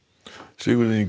Sigurður Ingi